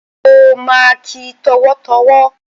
Ó ma kí ẹ tọ̀wọ̀tọ̀wọ̀.